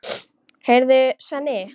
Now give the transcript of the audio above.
Heyrðu, Svenni.